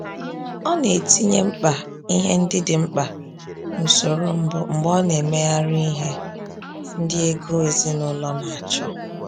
Ọ na-etinye mkpa ihe ndị dị mkpa n’usoro mbụ mgbe ọ na-emegharị ihe ndị ego ezinụlọ na-achọ.